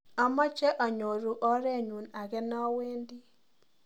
amache anyoru orenyu age nawendi